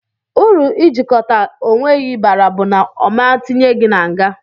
Uru ijikọta unwegi bara bu na oma tinye gi n'nga.